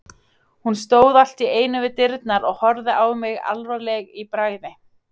Hún stóð allt í einu við dyrnar og horfði á mig alvarleg í bragði.